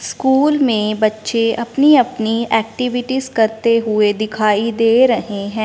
School में बच्चे अपनी-अपनी एक्टिविटीज करते हुए दिखाई दे रहे हैं।